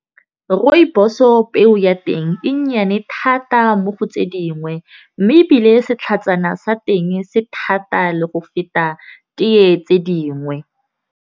Rooibos-o peo ya teng e nnyane thata mo go tse dingwe. Mme ebile setlhatsana sa teng se thata le go feta teye tse dingwe.